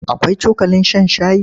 Akwai cokalin shan shayi?